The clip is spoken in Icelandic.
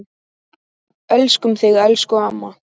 Elskum þig, elsku amma.